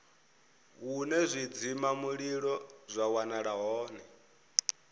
hune zwidzimamulilo zwa wanala hone